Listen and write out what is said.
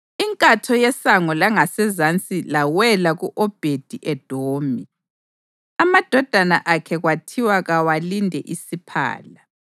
Inkatho yeSango langaseZansi lawela ku-Obhedi-Edomi, amadodana akhe kwathiwa kawalinde isiphala.